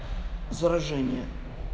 заражение